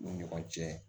U ni ɲɔgɔn cɛ